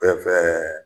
Ɛɛ